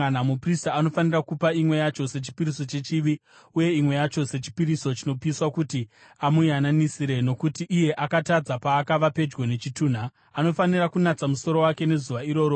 Muprista anofanira kupa imwe yacho sechipiriso chechivi uye imwe yacho sechipiriso chinopiswa kuti amuyananisire nokuti iye akatadza paakava pedyo nechitunha. Anofanira kunatsa musoro wake nezuva iroro.